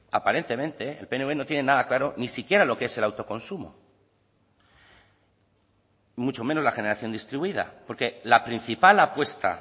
aparentemente el pnv no tienen nada claro ni siquiera lo que es el autoconsumo mucho menos la generación distribuida porque la principal apuesta